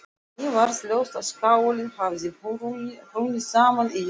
Henni varð ljóst að skálinn hafði hrunið saman í jarðskjálftunum.